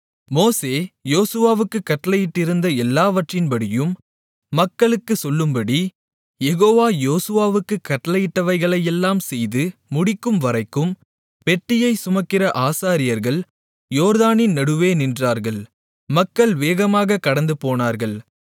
மோசே யோசுவாவுக்குக் கட்டளையிட்டிருந்த எல்லாவற்றின்படியும் மக்களுக்குச் சொல்லும்படி யெகோவா யோசுவாவுக்குக் கட்டளையிட்டவைகளையெல்லாம் செய்து முடிக்கும்வரைக்கும் பெட்டியைச் சுமக்கிற ஆசாரியர்கள் யோர்தானின் நடுவே நின்றார்கள் மக்கள் வேகமாகக் கடந்துபோனார்கள்